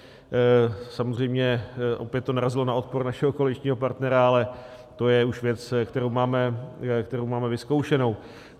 Samozřejmě opět to narazilo na odpor našeho koaličního partnera, ale to je už věc, kterou máme vyzkoušenou.